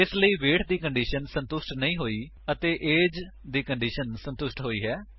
ਇਸ ਲਈ ਵੇਟ ਦੀ ਕੰਡੀਸ਼ਨ ਸੰਤੁਸ਼ਟ ਨਹੀਂ ਹੋਈ ਹੈ ਉੱਤੇ ਏਜ ਦੀ ਕੰਡੀਸ਼ਨ ਸੰਤੁਸ਼ਟ ਹੋਈ ਹੈ